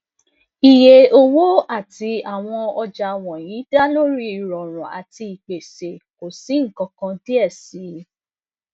iye owo ti awọn ọja wọnyi da lori irọrun ati ipese ko si nkankan diẹ sii